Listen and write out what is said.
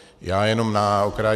Já jenom na okraj.